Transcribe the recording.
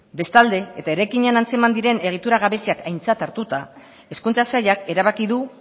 bestalde eta eraikinean antzeman diren egitura gabeziak aintzat hartuta hezkuntza sailak erabaki du